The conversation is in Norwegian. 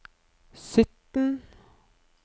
sytten